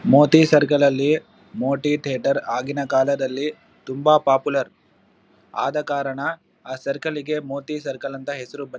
Moti circle ಲಲ್ಲಿ Moti theatre ಆಗಿನಕಾಲದಲ್ಲಿ ತುಂಬಾ ಪಾಪುಲರ್ ಆದಕಾರಣ ಆ ಸರ್ಕಲ್ ಲಿಗೆ ಮೋತಿ ಸರ್ಕಲ್ ಅಂತ ಹೆಸ್ರು ಬಂದಿದೆ.